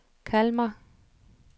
Kalmar